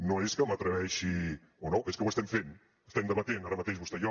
no és que m’atreveixi o no és que ho estem fent estem debatent ara mateix vostè i jo